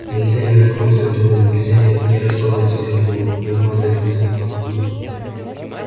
нельзя не наткнуться на другого нельзя не не распороть себя об него не обмазать в мясных лохмотьях